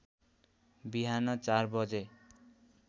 बिहान ४ बजे